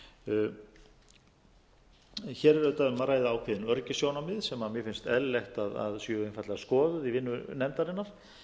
veður hér er auðvitað um að ræða ákveðin öryggissjónarmið sem mér finnst eðlilegt að séu einfaldlega skoðuð í vinnu nefndarinnar